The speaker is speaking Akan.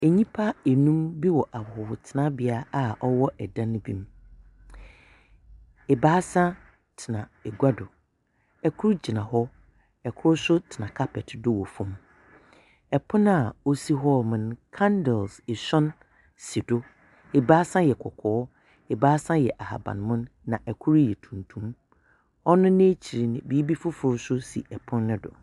Nnipa nnum bi wɔ ahɔhotenabea a wɔwɔ dan bi mu. Ebaasa tena agua do. Kor gyina hɔ, kor nso tena carpet do wɔ fam. Pon a ɔsi hɔnom no candles esɔn si do. Ebaasa yɛ kɔɔkɔɔ. Ebaasa yɛ aban mono, na kor yɛ tuntum. Ɔno n'ekyir no, biribi fofor nso si pon no do.